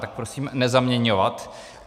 Tak prosím nezaměňovat.